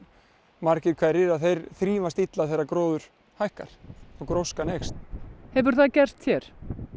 margir hverjir þeir þrífast illa þegar gróður hækkar og gróskan eykst hefur það gerst hér